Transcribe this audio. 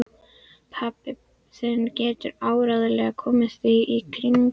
Pabbi þinn getur áreiðanlega komið því í kring